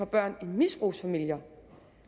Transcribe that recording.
børn i misbrugsfamilier